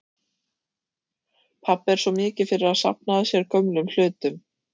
Pabbi er svo mikið fyrir að safna að sér gömlum hlutum.